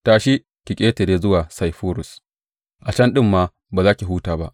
Tashi, ki ƙetare zuwa Saifurus; a can ɗin ma ba za ki huta ba.